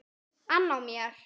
ann á mér.